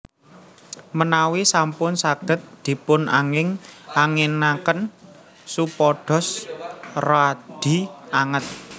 Menawi sampun saged dipun angin anginaken supados radi anget